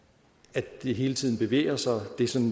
at det hele tiden bevæger sig